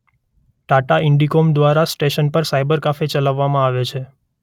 ટાટા ઇન્ડિકોમ દ્વારા સ્ટેશન પર cyber cafe ચલાવવામાં આવે છે.